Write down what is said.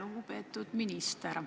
Lugupeetud minister!